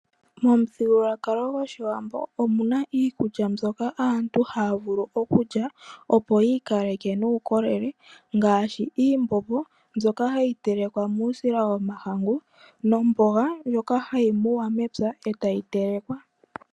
Momuthigululwakalo gwaAwambo omu na iikulya mbyoka aantu haa vulu oku lya, opo yi ikaleke muukolele, ngaashi iimbombo mbyoka hayi telekwa muusila womahangu, nomboga ndjoka hayi muwa mepya, e tayi telekwa.